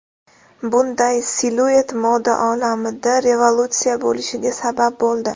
Bunday siluet moda olamida revolyutsiya bo‘lishiga sabab bo‘ldi.